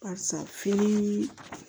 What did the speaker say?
Barisa fini